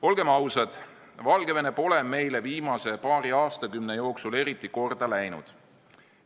Olgem ausad, Valgevene pole meile viimase paari aastakümne jooksul eriti korda läinud.